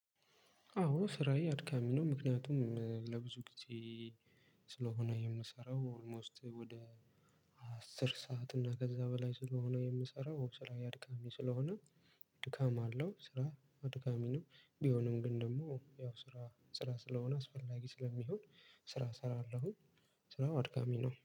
አዎ ስራዬ አድካሚ ነው። ምክንያቱም ለብዙ ጊዜ ስለሆነ የምሰራው ኦልሞስት ወደ አስር ሰዓት እና ከዛ በላይ ስለሆነ የምሰራው ስራዬ አድካሚ ስለሆነ ድካም አለው ስራ አድካሚ ነው። ቢሆንም ግን ደግሞ ያው ስራ ስራ ስለሆነ አስፈላጊ ስለሚሆን ስራ እሰራለሁ ስራው አድካሚ ነው።